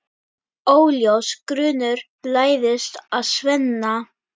Óljós grunur læðist að Svenna.